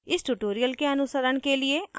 इस tutorial के अनुसरण के लिए: